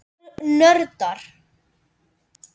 Þau voru nördar.